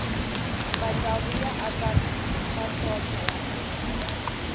matsavu ya aka masocha ya miri